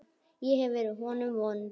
Ég hef verið honum vond.